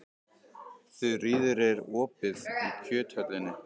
Þuríður, er opið í Kjöthöllinni?